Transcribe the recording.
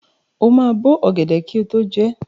O máa bó ọ̀gẹ̀dẹ̀ kí o tó jẹ ẹ́.